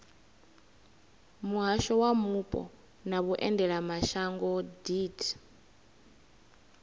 muhasho wa mupo na vhuendelamashango deat